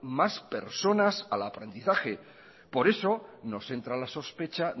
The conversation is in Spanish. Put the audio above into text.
más personas al aprendizaje por eso nos entra la sospecha